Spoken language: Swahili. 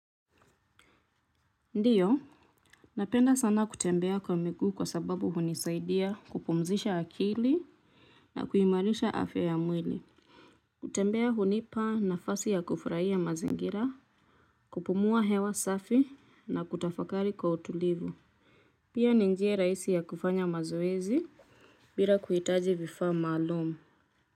Ndio, napenda sana kutembea kwa miguu kwa sababu hunisaidia kupumzisha akili na kuimarisha afya ya mwili. Kutembea hunipa nafasi ya kufurahia mazingira, kupumua hewa safi na kutafakari kwa utulivu. Pia ni njia rahisi ya kufanya mazoezi bila kuhitaji vifaa maalum.